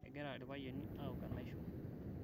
egira irpayani aok enaisho